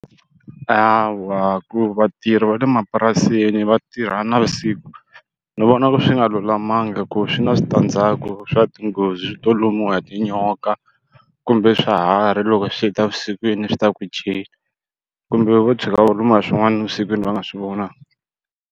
Hawa ku vatirhi va le mapurasini va tirha navusiku ni vona swi nga lulamangi ku swi na switandzhaku swa tinghozi to lumiwa hi tinyoka kumbe swiharhi loko swi ta evusikwini swi ta ku jenu kumbe vo tshuka va lumiwa hi swin'wana evusikwini va nga swi vonangi.